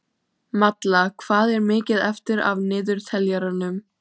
Malla, hvað er mikið eftir af niðurteljaranum?